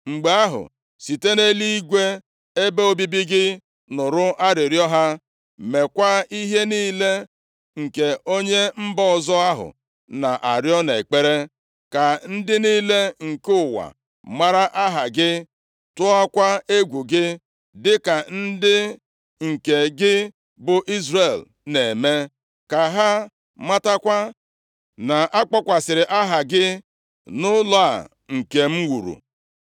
mgbe ahụ, site nʼeluigwe ebe obibi gị nụrụ arịrịọ ha. Mekwaa ihe niile nke onye mba ọzọ ahụ na-arịọ nʼekpere, ka ndị niile nke ụwa mara aha gị, tụọkwa egwu gị, dịka ndị nke gị bụ Izrel na-eme, ka ha matakwa na-akpọkwasịrị Aha gị nʼụlọ a nke m wuru.